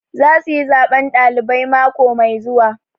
Za su yi zaɓen ɗalibai mako mai zuwa